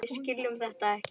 Við skiljum þetta ekki.